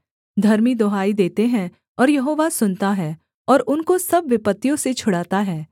धर्मी दुहाई देते हैं और यहोवा सुनता है और उनको सब विपत्तियों से छुड़ाता है